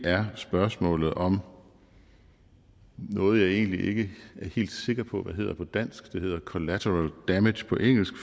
er spørgsmålet om noget jeg egentlig ikke er helt sikker på hvad hedder på dansk det hedder collateral damage på engelsk